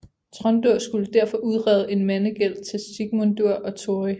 Tróndur skulle derfor udrede en mandegæld til Sigmundur og Tóri